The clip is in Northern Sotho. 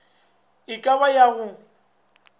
e ka ba ya go